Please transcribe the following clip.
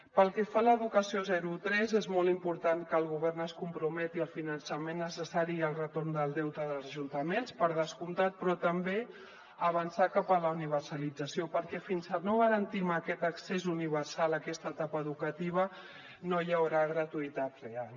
pel que fa a l’educació zero tres és molt important que el govern es comprometi al finançament necessari i al retorn del deute dels ajuntaments per descomptat però també avançar cap a la universalització perquè fins que no garantim aquest accés universal a aquesta etapa educativa no hi haurà gratuïtat real